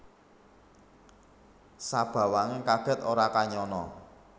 Sabawaning kaget ora kanyana